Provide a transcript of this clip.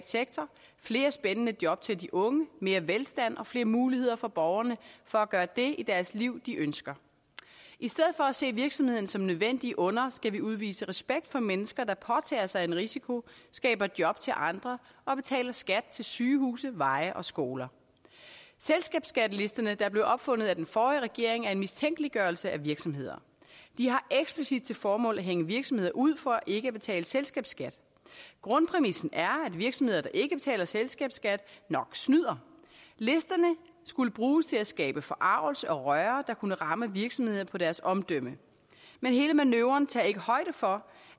sektor flere spændende job til de unge mere velstand og flere muligheder for borgerne for at gøre det i deres liv de ønsker i stedet for at se virksomhederne som nødvendige onder skal vi udvise respekt for mennesker der påtager sig en risiko skaber job til andre og betaler skat til sygehuse veje og skoler selskabsskattelisterne der blev opfundet af den forrige regering er en mistænkeliggørelse af virksomheder de har eksplicit til formål at hænge virksomheder ud for ikke at betale selskabsskat grundpræmissen er at virksomheder der ikke betaler selskabsskat nok snyder listerne skulle bruges til at skabe forargelse og røre der kunne ramme virksomhederne på deres omdømme men hele manøvren tager ikke højde for